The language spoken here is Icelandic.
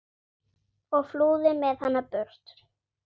og flúði með hana burt.